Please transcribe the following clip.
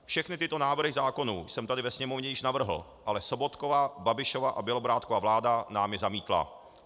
Všechny tyto návrhy zákonů jsem tady ve Sněmovně již navrhl, ale Sobotkova, Babišova a Bělobrádkova vláda nám je zamítla.